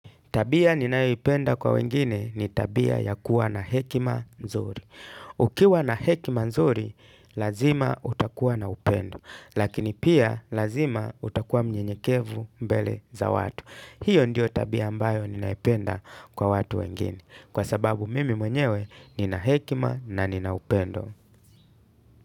Tabia ninayoipenda kwa wengine ni tabia ya kuwa na hekima nzuri. Ukiwa na hekima nzuri, lazima utakuwa na upendo. Lakini pia, lazima utakuwa mnyenyekevu mbele za watu. Hiyo ndio tabia ambayo ninaipenda kwa watu wengine. Kwa sababu, mimi mwenyewe nina hekima na nina upendo.